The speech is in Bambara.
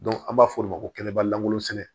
an b'a fɔ o ma ko kɛnɛba lankolon sɛnɛ